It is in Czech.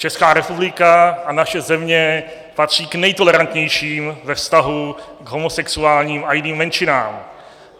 Česká republika a naše země patří k nejtolerantnějším ve vztahu k homosexuálním a jiným menšinám.